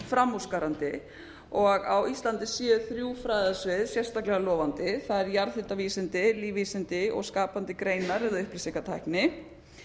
framúrskarandi og á íslandi séu þrjú fræðasvið sérstaklega lofandi það er jarðhitavísindi lífvísindi og skapandi greinar eða upplýsingatækni